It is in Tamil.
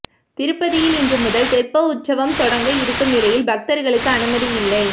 திருப்பதியில் இன்று முதல் தெப்ப உற்சவம் தொடங்க இருக்கும் நிலையில் பக்தர்களுக்கு அனுமதி இல்லை